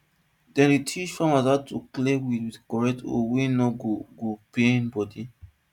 dem dey teach farmer how to clear weed with correct hoe wey no go go pain body